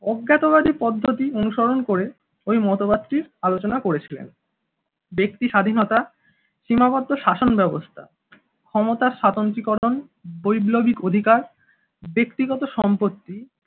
অজ্ঞাতবাড়ি পদ্ধতি অনুসরণ করে ওই মতবাদ টির আলোচনা করেছিলেন। ব্যক্তি স্বাধীনতা সীমাবদ্ধ শাসনব্যবস্থা ক্ষমতা স্বতন্ত্রীকরণ বৈপ্লবিক অধিকার ব্যক্তিগত সম্পত্তি